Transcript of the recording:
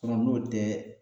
n'o tɛ